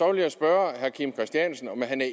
vil jeg spørge herre kim christiansen om han